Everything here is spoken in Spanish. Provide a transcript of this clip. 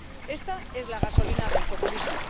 Esta es la gasolina del populismo.